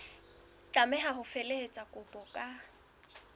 tlameha ho felehetsa kopo ka